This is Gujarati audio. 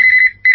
phone call